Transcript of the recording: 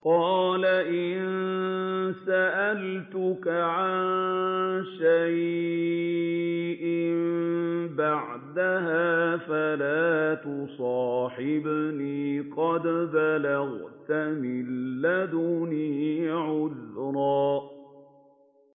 قَالَ إِن سَأَلْتُكَ عَن شَيْءٍ بَعْدَهَا فَلَا تُصَاحِبْنِي ۖ قَدْ بَلَغْتَ مِن لَّدُنِّي عُذْرًا